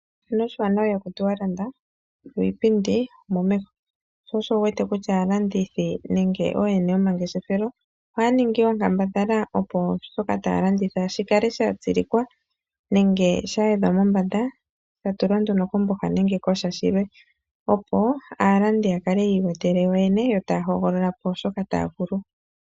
Oshiwanawa ihaku tiwa landa, yo iipindi omomeho. Osho wu wete aalandithi nenge ooyene yomangeshefelo ohaa ningi oonkambadhala, opo shoka taya landitha shi kale sha tsilikwa nenge sha yedhwa mombanda sha tulwa nduno komboha nenge ku sha shilwe, opo aalandi ya kale yi iwetele ko yoyene yo taya hogolola shoka taya vulu.